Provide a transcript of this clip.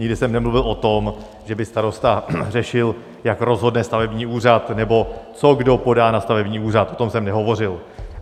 Nikdy jsem nemluvil o tom, že by starosta řešil, jak rozhodne stavební úřad nebo co kdo podá na stavební úřad, o tom jsem nehovořil.